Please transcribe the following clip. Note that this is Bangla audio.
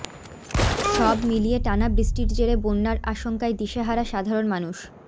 সব মিলিয়ে টানা বৃষ্টির জেরে বন্যার আশঙ্কায় দিশেহারা সাধারণ মানুষ